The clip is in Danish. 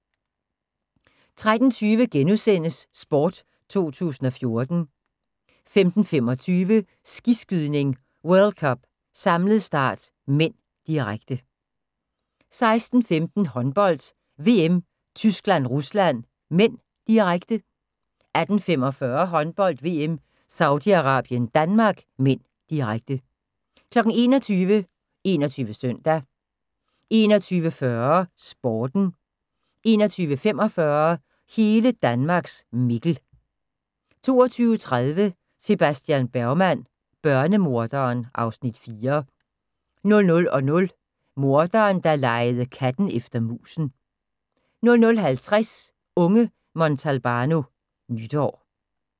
13:20: Sport 2014 * 15:25: Skiskydning: World Cup - samlet start (m), direkte 16:15: Håndbold: VM - Tyskland-Rusland (m), direkte 18:45: Håndbold: VM - Saudi-Arabien - Danmark (m), direkte 21:00: 21 Søndag 21:40: Sporten 21:45: Hele Danmarks Mikkel 22:30: Sebastian Bergman: Børnemorderen (Afs. 4) 00:00: Morderen, der legede katten efter musen 00:50: Unge Montalbano: Nytår